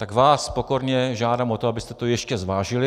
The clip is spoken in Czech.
Tak vás pokorně žádám o to, abyste to ještě zvážili.